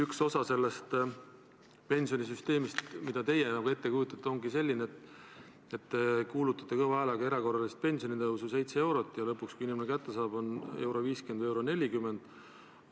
Üks osa sellest pensionisüsteemist, mida teie ette kujutate, ongi selline, et te kuulutate kõva häälega erakorralist pensionitõusu 7 eurot, aga lõpuks, kui inimene raha kätte saab, on seda 1.50 või 1.40.